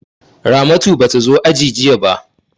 Ramatu ba ta zo aiki jiya ba.